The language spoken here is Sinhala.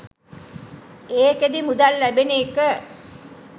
ඒකෙදි මුදල් ලැබෙන එක